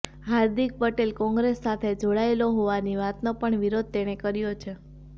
હાર્દિક પટેલ કોંગ્રેસ સાથે જોડાયેલો હોવાની વાતનો પણ વિરોધ તેણે કર્યો છે